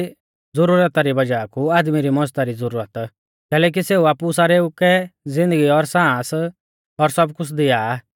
ना केज़ी च़िज़ा री ज़ुरता री वज़ाह कु आदमी री मज़दा री ज़ुरत कैलैकि सेऊ आपु सारेऊ कै ज़िन्दगी और सांस और सब कुछ़ दिया आ